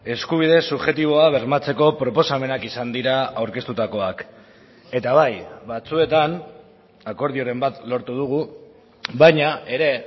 eskubide subjektiboa bermatzeko proposamenak izan dira aurkeztutakoak eta bai batzuetan akordioren bat lortu dugu baina ere